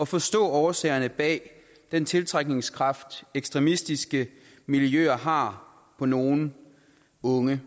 at forstå årsagerne bag den tiltrækningskraft ekstremistiske miljøer har på nogle unge